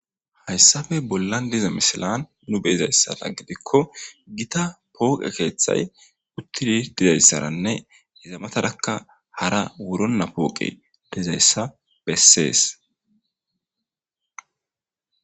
Hayssabe bollan diza misilan nu beizayssara gidikko gita pooqe keeththay uttidi dizayssaranne izamatarakka hara wuronna pooqe dizayssa bessees.